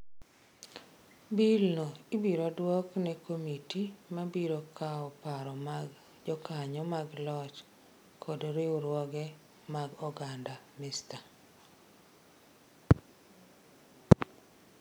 Bill no ibiro duok ne komiti ma biro kawo paro mag jokanyo mag loch kod riwruoge mag oganda, Mr.